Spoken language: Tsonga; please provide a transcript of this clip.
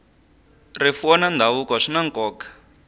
rifuwo na ndhavuko swi na nkoka